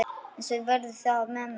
Eins verði það með mig.